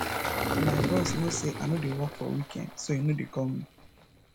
my boss no say i no dey work for weekend so e no dey call me